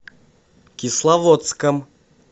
кисловодском